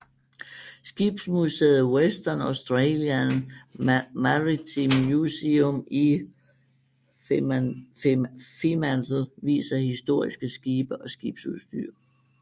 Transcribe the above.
Skibsmuseet Western Australian Maritime Museum i Fremantle viser historiske skibe og skibsudstyr